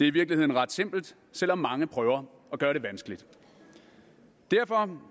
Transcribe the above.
i virkeligheden ret simpelt selv om mange prøver at gøre det vanskeligt derfor